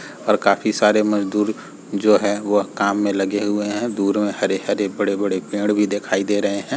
और काफ़ी सारे मजदूर जो हैं वो काम में लगे हुए हैं। दूर में हरे-हरे बड़े-बड़े पेड़ भी दिखाई दे रहे हैं।